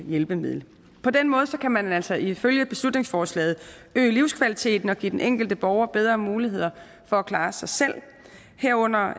hjælpemiddel på den måde kan man altså ifølge beslutningsforslaget øge livskvaliteten og give den enkelte borger bedre muligheder for at klare sig selv herunder